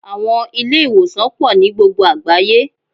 Àwọn Ilé-ìwòsàn pò nií gbogbo àgbáyé